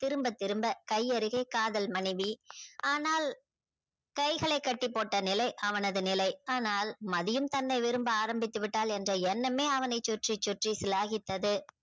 திரும்ப திரும்ப கை அருகே காதல் மானைவி ஆனால் கைகளை கட்டி போட்ட நிலை அவனது நிலை அனால் மதியும் தன்னை விரும்ப ஆரமித்து விட்டாள் என்ற எண்ணமே அவனை சுற்றி சுற்றி சிலாகித்தது